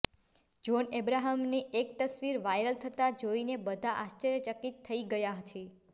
John અબ્રાહમની એક તસવીર વાયરલ થતાં જોઈને બધા આશ્ચર્યચકિત થઈ ગયા છે